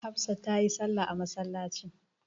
Hafsa ta yi salla a masallaci.